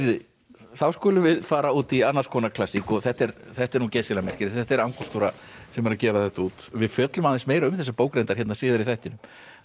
þá skulum við fara út í annars konar klassísk þetta er þetta er geysilega merkilegt þetta er Angústúra sem er að gefa þetta út við fjöllum aðeins meira um þessa bók reyndar síðar í þættinum